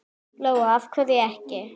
Lóa: Af hverju ekki?